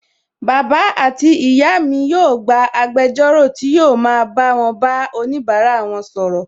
Bàbá àti ìyá mi yóò gba agbẹjọ́rò tí yóò ma bá wọn bá onibara wọn sọ̀rọ̀